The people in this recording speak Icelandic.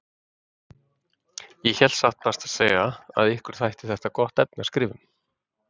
Ég hélt satt best að segja að ykkur þætti þetta gott efni að skrifa um.